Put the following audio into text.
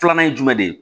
Filanan ye jumɛn de ye